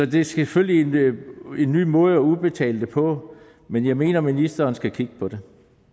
det er selvfølgelig en ny måde at udbetale det på men jeg mener at ministeren skal kigge på det